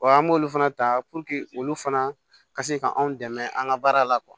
Wa an b'olu fana ta olu fana ka se ka anw dɛmɛ an ka baara la